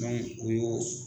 o y'o.